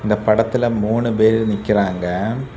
இந்த படத்துல மூணு பேரு நிக்கிறாங்க.